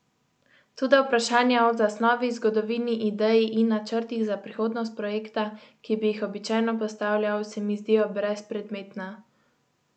Toda vprašanja o zasnovi, zgodovini, ideji in načrtih za prihodnost projekta, ki bi jih običajno postavljal, se mi zdijo brezpredmetna.